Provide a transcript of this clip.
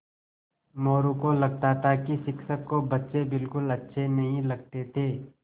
मोरू को लगता था कि शिक्षक को बच्चे बिलकुल अच्छे नहीं लगते थे